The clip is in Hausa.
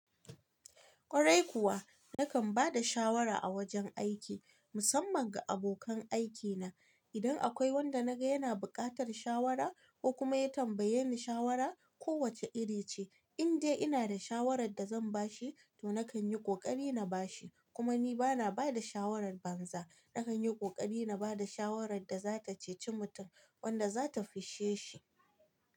Kwarai kuwa, nakan ba da shawara a wajen aiki, musamman ga abokan aikina. Idan akwai wanda na ga yana buƙatar shawara ko kuma ya tambaye ni shawara, ko wace iri ce, in dai ina da shawarar da zan ba shi, to nakan yi ƙoƙari na ba shi. Kuma ni ba na ba da shawarar banza. Nakan yi ƙoƙari na ba da shawarar da za ta ceci mutum, wadda za ta fisshe shi.